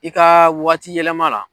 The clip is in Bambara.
I ka waati yɛlɛma la.